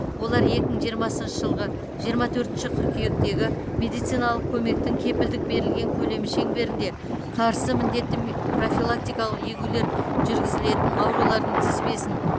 олар екі мың жиырмасыншы жылғы жиырма төртінші қыркүйектегі медициналық көмектің кепілдік берілген көлемі шеңберінде қарсы міндетті профилактикалық егулер жүргізілетін аурулардың тізбесін